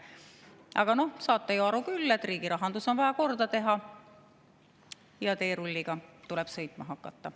Aga noh, saate ju aru küll, et riigi rahandus on vaja korda teha ja teerulliga tuleb sõitma hakata.